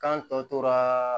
Kan tɔ tora